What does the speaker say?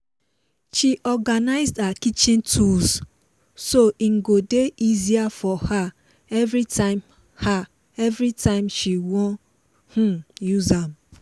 she organize her kitchen tools so hin go dey easier for her everytime her everytime she won um use am